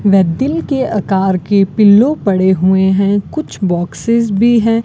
वह दिल के अकार के पिल्लों पड़े हुए है कुछ बॉक्सेस भी है।